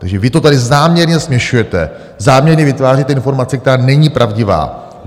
Takže vy to tady záměrně směšujete, záměrně vytváříte informace, která není pravdivá.